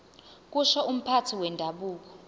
kusho umphathi wendabuko